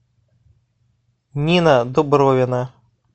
нина дубровина